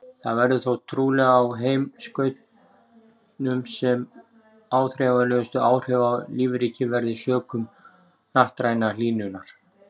Það verður þó trúlega á heimskautunum sem áþreifanlegustu áhrifin á lífríkið verða sökum hnattrænnar hlýnunar.